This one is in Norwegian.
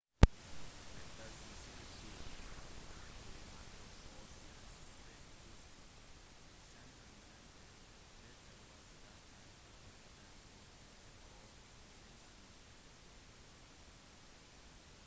ettersom tiden gikk ble mange ord lånt fra tysk sammenblandet dette var starten på en opplysning